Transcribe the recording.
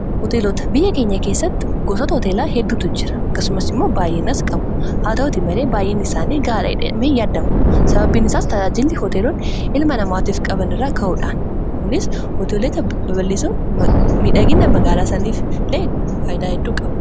hoteelota biyya keenya keessatti gosata hooteelaa hedduutu jira akkasumas immoo baay'inaas qabu haa ta'uuti malee baay'ina isaanii gaaladhme yaaddamu sababiin isaas tadaajili hooteeloon ilma namaatiof qaban irraa ka'uudhaan kunis hoteelota baballisoo midhaginna magaalaa saniif lee faaydaa hedduu qaba